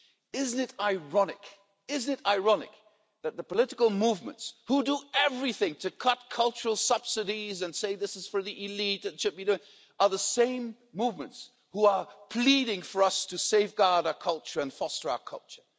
Isn't it ironic, isn't it ironic that the political movements who do everything to cut cultural subsidies and say this is for the elite, are the same movements who are pleading for us to safeguard our culture and foster our culture.